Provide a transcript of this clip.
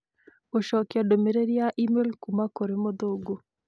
gũcokia ndũmĩrĩri ya e-mail kuuma kũrĩ mũthũngũ